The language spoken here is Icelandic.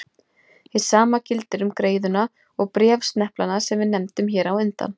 Hið sama gildir um greiðuna og bréfsneplana sem við nefndum hér á undan.